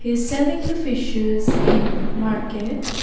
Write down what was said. He is selling the fishes in market.